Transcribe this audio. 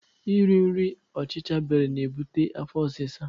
E ri nri ọchicha bere na ebute afọ osisa